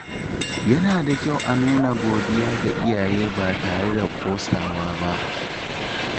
Yana da kyau a nuna godiya ga iyaye ba tare da ƙosawa ba.